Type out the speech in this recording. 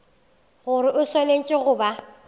gore o swanetše go ba